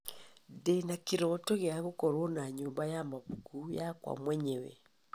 Ndĩna kĩroto gĩa gũkorwo na nyũmba ya mabuku yakwa mwenyewe.